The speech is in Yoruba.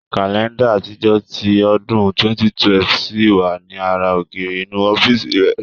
Kàlẹ́ńdà àtijọ́ ti ọdún 2012 ṣì wà ní ara ògiri inú ọ́fíìsì rẹ̀.